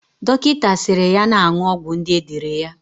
Dokita siri ya na-aṅụ ọgwụ ndi edere ya